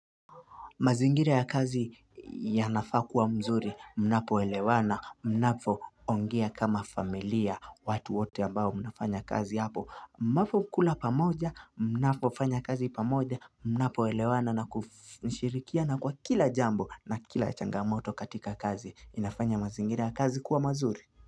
Mazingira ya kazi yanafaa kuwa mzuri, mnapo elewana, mnapo ongea kama familia, watu wote ambao mnafanya kazi hapo, mnapo kula pamoja, mnapo fanya kazi pamoja, mnapo elewana na kushirikia na kwa kila jambo na kila changamoto katika kazi, inafanya mazingira ya kazi kuwa mazuri.